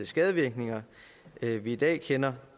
skadevirkninger vi i dag kender